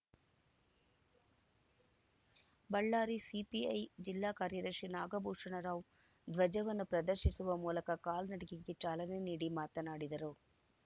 Ballari CPI ಜಿಲ್ಲಾ ಕಾರ್ಯದರ್ಶಿ ನಾಗಭೂಷಣರಾವ್‌ ಧ್ವಜವನ್ನು ಪ್ರದರ್ಶಿಸುವ ಮೂಲಕ ಕಾಲ್ನಡಿಗೆಗೆ ಚಾಲನೆ ನೀಡಿ ಮಾತನಾಡಿದರು